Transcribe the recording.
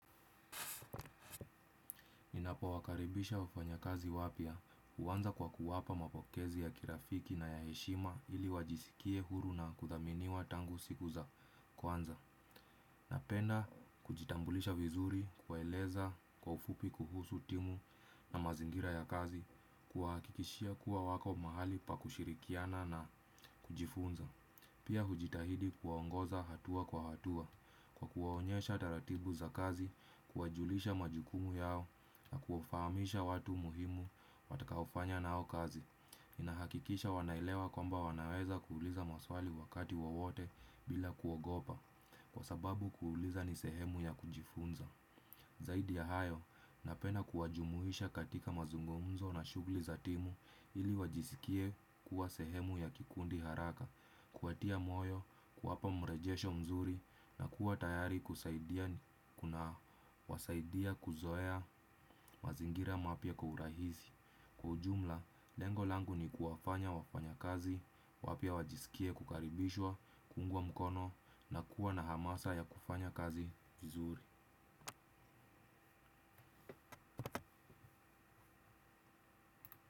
Ninapowakaribisha wafanyakazi wapya uanza kwa kuwapa mapokezi ya kirafiki na ya heshima ili wajisikie huru na kuthaminiwa tangu siku za kwanza. Napenda kujitambulisha vizuri, kuwaeleza kwa ufupi kuhusu timu na mazingira ya kazi, kuwahakikishia kuwa wako mahali pa kushirikiana na kujifunza. Pia ujitahidi kuwaongoza hatua kwa hatua, kuwaonyesha taratibu za kazi, kuwajulisha majukumu yao na kuwafahamisha watu muhimu watakaofanya nao kazi. Nahakikisha wanaelewa kwamba wanaweza kuuliza maswali wakati wowote bila kuogopa, kwa sababu kuuliza ni sehemu ya kujifunza. Zaidi ya hayo, napenda kuwajumuisha katika mazungumzo na shugli za timu ili wajisikie kuwa sehemu ya kikundi haraka, kuwatia moyo, kuwapa mrejesho mzuri na kuwa tayari kusaidia kuna wasaidia kuzoea mazingira mapya kwa urahizi. Kwa ujumla, lengo langu ni kuwafanya wafanyakazi wapya wajiskie kukaribishwa, kuungwa mkono na kuwa na amasa ya kufanya kazi vizuri.